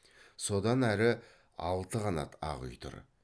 содан әрі алты қанат ақ үй тұр